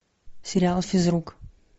сериал физрук